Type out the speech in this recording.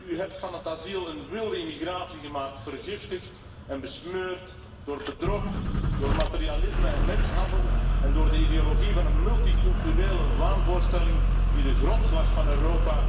U hebt van het asiel een wilde immigratie gemaakt, vergiftigd en besmeurd door bedrog, materialisme en mensenhandel en door de ideologie van een multiculturele waanvoorstelling die de grondslag van Europa